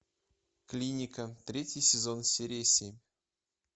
клиника третий сезон серия семь